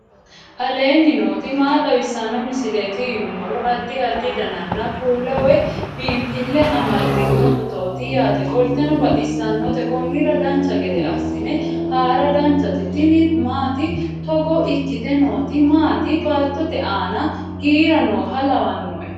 aleenni nooti maa xawisanno misileeti yinummoro addi addi dananna kuula woy biinsille amaddino footooti yaate qoltenno baxissannote konnira dancha gede assine haara danchate tini maati togo ikkite nooti maati baattote aana giira nooha laewanno